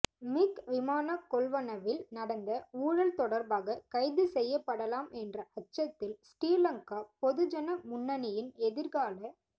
மிக் விமான கொள்வனவில் நடந்த ஊழல் தொடர்பாக கைது செய்யப்படலாம் என்ற அச்சத்தில் ஶ்ரீலங்கா பொதுஜன முன்னணியின் எதிர்கால